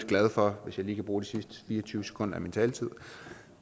glad for hvis jeg lige kan bruge de sidste fire og tyve sekunder af min taletid